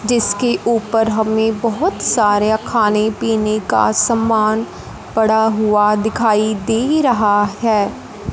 जिसके ऊपर हमें बहोत सारे खाने पीने का समान पड़ा हुआ दिखाई दे रहा हैं।